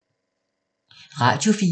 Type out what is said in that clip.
Radio 4